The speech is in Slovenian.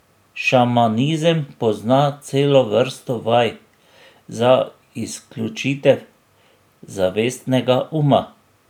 Šamanizem pozna celo vrsto vaj za izključitev zavestnega uma.